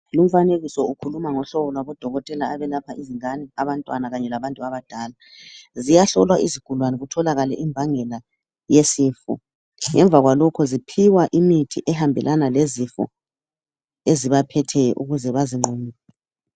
Lumfanekiso ukhuluma ngohlobo lwabodokotela abelapha izingane, abantwana kanye labantu abadala. Ziyahlolwa izigulane kutholakale imbangela yesifo. Ngemva kwalokho ziphiwa imithi ehambelana lezifo ezibaphetheyo ukuze bazinqobe.